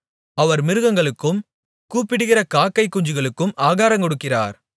அவர் மிருகங்களுக்கும் கூப்பிடுகிற காக்கைக் குஞ்சுகளுக்கும் ஆகாரங்கொடுக்கிறார்